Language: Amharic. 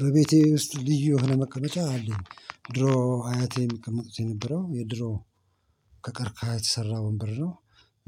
በቤቴ ውስጥ ልዩ የሆነ መቀመቻ አለኝ። ድሮ አያቴ የሚቀመጡት የነበረው የድሮ ከቀርካሃ የተሰራ ወንበር ነው።